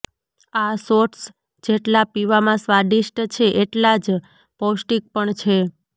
આ શોટ્સ જેટલા પીવામાં સ્વાદિષ્ટ છે એટલા જ પૌષ્ટીક પણ છે